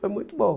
Foi muito bom.